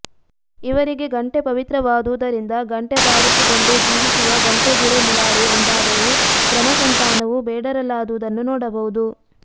ಇವರಿಗೆ ಗಂಟೆ ಪವಿತ್ರವಾದುದರಿಂದ ಗಂಟೆಬಾರಿಸಿಕೊಂಡು ಜೀವಿಸುವ ಗಂಟೆಗೂಳೆ ಮುಲಾರು ಎಂದಾದರು ಕ್ರಮ ಸಂತಾನವು ಬೇಡರಲ್ಲಾದುದನ್ನು ನೋಡಬಹುದು